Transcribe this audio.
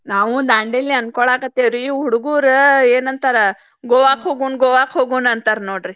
ನಾವು ದಾಂಡೇಲಿ ಅನ್ಕೋಲಾತೆವ್ರಿ ಹುಡಗುರ್ ಏನ್ ಅಂತಾರ ಗೋವಾಕ್ ಹೋಗುಣ್ ಗೋವಾಕ್ ಹೋಗುಣ ಅಂತಾರ ನೋಡ್ರಿ.